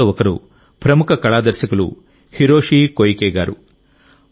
వీరిలో ఒకరు ప్రముఖ కళా దర్శకులు హిరోషి కోయికే గారు